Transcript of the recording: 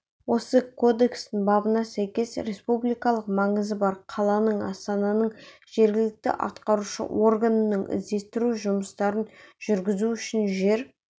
осы кодекстің бабына сәйкес республикалық маңызы бар қаланың астананың жергілікті атқарушы органының іздестіру жұмыстарын жүргізу үшін жер